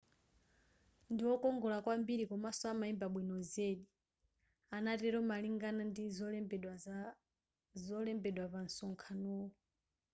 ndiwokongola kwambiri komanso amaimba bwino zedi anatelo malingana ndi zolembedwa pa nsonkhano wu